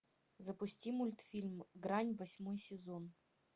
запусти мультфильм грань восьмой сезон